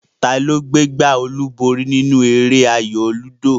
Ta gbé gbá olúborí nínú eré ayò lúdò?